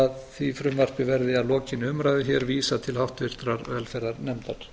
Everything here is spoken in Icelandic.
að því frumvarpi verði að lokinni umræðu hér vísað til háttvirtrar velferðarnefndar